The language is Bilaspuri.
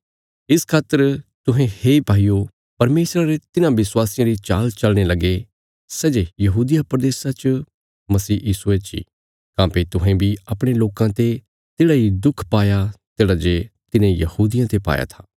इस खातर तुहें हे भाईयो परमेशरा रे तिन्हां विश्वासियां री चाल चलने लगे सै जे यहूदिया प्रदेशा च मसीह यीशुये चे काँह्भई तुहें बी अपणे लोकां ते तेढ़ा इ दुख पाया तेढ़ा जे तिन्हें यहूदियां ते पाया था